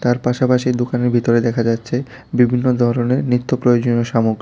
তার পাশাপাশি দোকানের বিতরে দেখা যাচ্ছে বিবিন্ন দরনের নিত্য প্রয়োজনীয় সামগ্রী।